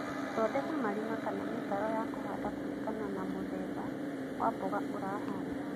Thondeka marima kana mĩtaro ya kũhanda kũringana na mũthemba wa mboga ũrahanda.